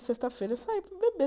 Sexta-feira, sair para beber.